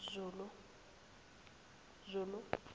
zulu